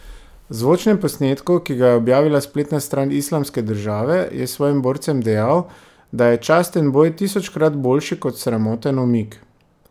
V zvočnem posnetku, ki ga je objavila spletna stran Islamske države, je svojim borcem dejal, da je časten boj tisočkrat boljši kot sramoten umik.